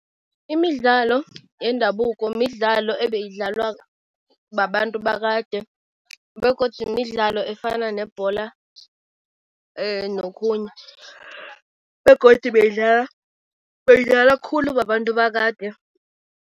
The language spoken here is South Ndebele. Imidlalo yendabuko midlalo ebayidlalwa babantu bakade begodu midlalo efana nebhola nokhunye begodu beyidlwalwa, beyidlalwa khulu babantu bakade.